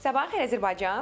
Sabahınız xeyir Azərbaycan.